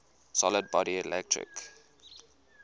solid body electric